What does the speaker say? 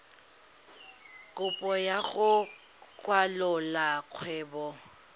kopo ya go kwalolola kgwebo